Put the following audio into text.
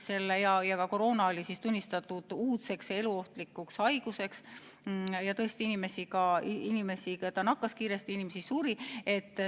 Koroona oli tunnistatud uudseks eluohtlikuks haiguseks ja tõesti, inimesi nakatus kiiresti, inimesi suri.